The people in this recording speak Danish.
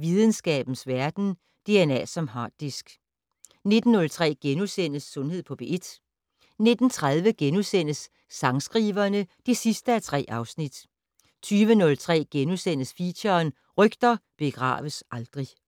Videnskabens Verden: DNA som harddisk * 19:03: Sundhed på P1 * 19:30: Sangskriverne (3:3)* 20:03: Feature: Rygter begraves aldrig *